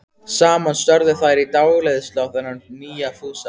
Saman störðu þær í dáleiðslu á þennan nýja Fúsa.